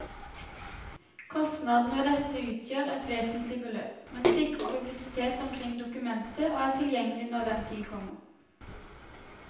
Kostnadene ved dette utgjør et uvesentlig beløp, men sikrer publisitet omkring dokumentet og er tilgjengelig når den tid kommer.